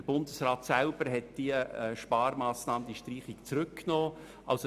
Der Bundesrat selber hat diese Sparmassnahme, also diese Streichung, zurückgenommen.